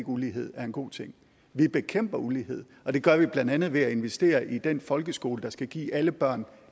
ulighed er en god ting vi bekæmper ulighed og det gør vi blandt andet ved at investere i den folkeskole der skal give alle børn